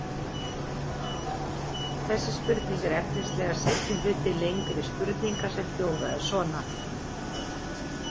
Þessi spurning er efnislega seinni hluti lengri spurningar sem hljóðaði svona: